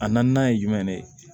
A naaninan ye jumɛn de ye